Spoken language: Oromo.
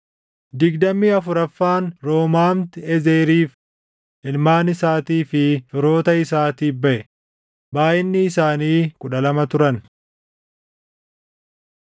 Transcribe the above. digdamii afuraffaan Roomaamti-Ezeriif, // ilmaan isaatii fi firoota isaatiif baʼe; // baayʼinni isaanii kudha lama turan.